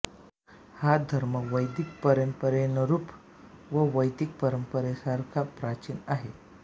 हा धर्म वैदिक परंपरेनरूप व वैदिक परंपरेसारखा प्राचीन आहे